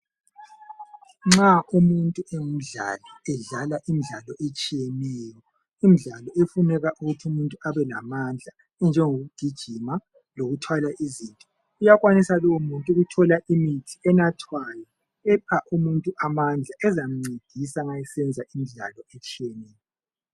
Nxa umuntu engumdlali edlala imidlalo etshiyeneyo imidlalo efuneka ukuthi umuntu abe lamandla enjengokugijima lokuthwala izinto uyakwanisa ukuthola imithi enathwayo epha umuntu amandla ezamcedisa ma esenza imidlalo etshiyeneyo.